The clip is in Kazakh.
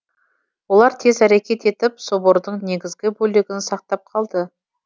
олар тез әрекет етіп собордың негізгі бөлігін сақтап қалды